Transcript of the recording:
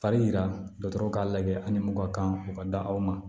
Fari jira dɔgɔtɔrɔw k'a lajɛ ani mun ka kan o ka di aw ma